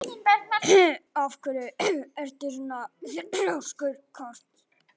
Af hverju ertu svona þrjóskur, Kort?